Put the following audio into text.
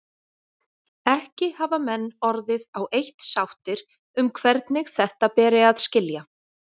Ekki hafa menn orðið á eitt sáttir um hvernig þetta beri að skilja.